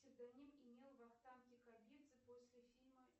псевдоним имел вахтанг кикабидзе после фильма